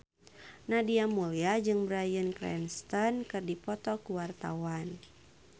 Nadia Mulya jeung Bryan Cranston keur dipoto ku wartawan